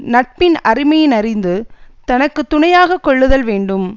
நட்பின் அருமையினையறிந்து தனக்கு துணையாக கொள்ளுதல் வேண்டும்